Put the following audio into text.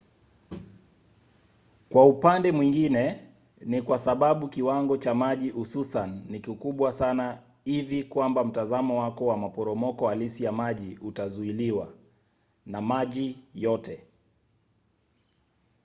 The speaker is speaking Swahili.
kwa upande mwingine ni kwa sababu kiwango cha maji hususan ni kikubwa sana hivi kwamba mtazamo wako wa maporomoko halisi ya maji utazuiliwa – na maji yote!